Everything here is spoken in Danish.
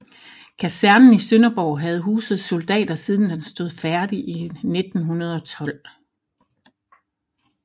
Kasernen i Sønderborg havde huset soldater siden den stod færdig i 1912